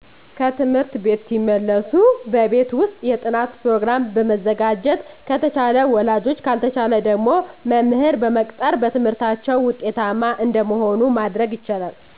ከትምህርት ቤት ሲመለሱ በቤት ውስጥ የጥናት ፕሮገራም በመዘጋጀት አተቻለ ወላጆች ካልተቻለ ደግሞ መምህር በመቅጠር በትምህርታቸው ውጤታማ እንደመሆኑ ማድረግ ይቻላል